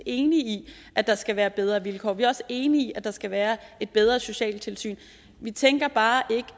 enige i at der skal være bedre vilkår og vi er også enige i at der skal være et bedre socialtilsyn vi tænker bare ikke